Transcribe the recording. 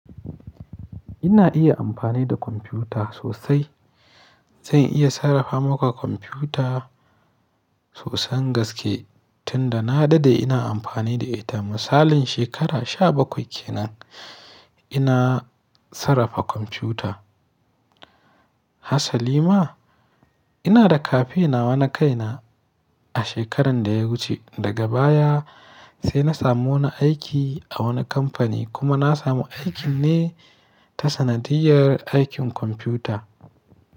Ina iya amfani da kwamfuta sosai. Zan iya sarrafa maka kwamfuta sosan gaske, tunda na daɗe ina amfani da ita. Misalin shekara sha bakwai kenan ina sarrafa kwamfuta. Hassali ma? Ina da kafe nawa na kaina a shekaran da ya wuce. Daga baya sai na samu wani aiki a wani kamfani kuma na samu aikin ne ta sanadiyyar aikin kwamfuta.